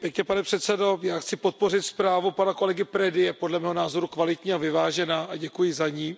Pane předsedající, já chci podpořit zprávu pana kolegy Predy, je podle mého názoru kvalitní a vyvážená a děkuji za ni.